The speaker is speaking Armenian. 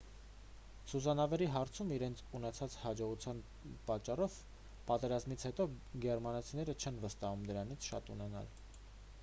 սուզանավերի հարցում իրենց ունեցած հաջողության պատճառով պատերազմից հետո գերմանացիներին չեն վստահում դրանցից շատ ունենալ